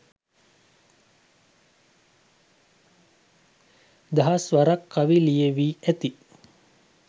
දහස් වරක් කවි ලියැවි ඇති